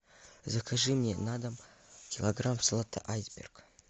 закажи мне на дом килограмм салата айсберг